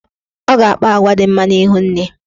Ọ ga-akpa agwa dị mma n'ihu nne.